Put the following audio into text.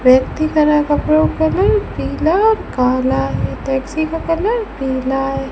व्यक्ति का रा कपड़ों का रंग पीला और काला है टैक्सी का कलर पीला है।